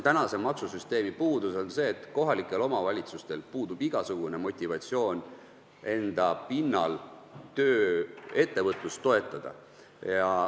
Tänase maksusüsteemi puudus on see, et kohalikel omavalitsustel puudub igasugune motivatsioon enda pinnal ettevõtlust toetada.